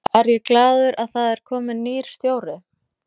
Er ég glaður að það er kominn nýr stjóri?